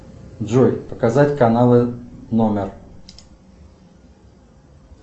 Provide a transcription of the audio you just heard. джой показать каналы номер